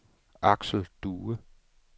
Axel Due